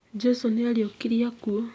Jesũ nĩariũkirie akuũ